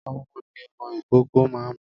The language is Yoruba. Ọmu ni ọmọ ìkókó ma ń mu.